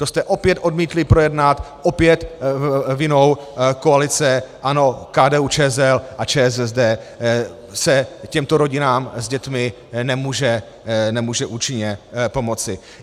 To jste opět odmítli projednat, opět vinou koalice ANO, KDU-ČSL a ČSSD se těmto rodinám s dětmi nemůže účinně pomoci.